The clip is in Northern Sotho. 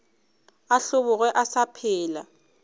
a hlobogwe a sa phela